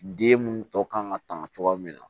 Den mun tɔ kan ka tanga cogoya min na